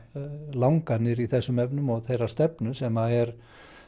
langanir í þessum efnum og þeirra stefnu sem er